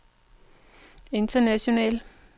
internationalt